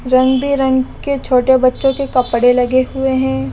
रंग बिरंग के छोटे बच्चों के कपड़े लगे हुए हैं।